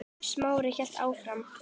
Smári hélt áfram.